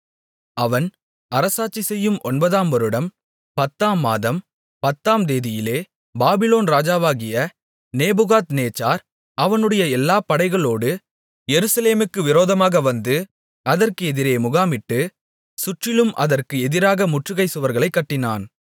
அவன் அரசாட்சிசெய்யும் ஒன்பதாம் வருடம் பத்தாம்மாதம் பத்தாந்தேதியிலே பாபிலோன் ராஜாவாகிய நேபுகாத்நேச்சார் அவனுடைய எல்லா படைகளோடு எருசலேமுக்கு விரோதமாக வந்து அதற்கு எதிரே முகாமிட்டு சுற்றிலும் அதற்கு எதிராக முற்றுகைச் சுவர்களைக் கட்டினான்